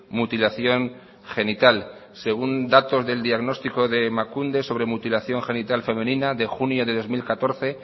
mutilación genital según datos del diagnóstico de emakunde sobre mutilación genital femenina de junio de dos mil catorce